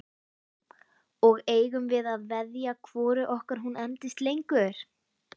Og eigum við að veðja hvoru okkar hún endist lengur?